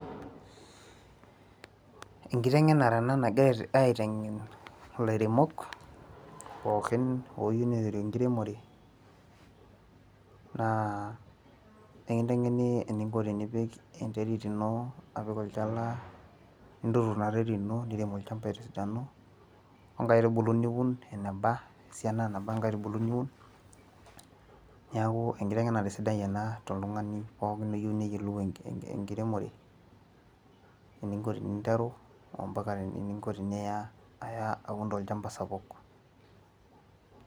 Enkitengenare ena nagirae aiteng'en ilairemok ooyieu niteru enkiremore, naa ekintengeni eninko tenipik enterit ino apik olchala, ninturur ina terit ino, nirem olchampa tesidano, onkaitubulu niun eneba, esiana neba inkaitubulu niun, neeku enkitengenare sidai ena toltungani pookin oyieu neyiolou enkiremore. eninko teninteru mpaka eninko teniya aya aun tolchampa sapuk.